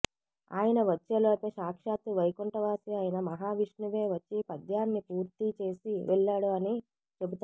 ఆయన వచ్చేలోపే సాక్షాత్తు వైకుంఠవాసి అయిన మహావిష్ణువే వచ్చి పద్యాన్ని పూర్తీ చేసి వెళ్ళాడు అని చెబుతారు